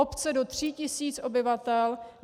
Obce do 3 tisíc obyvatel.